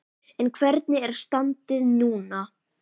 En hvernig er standið núna?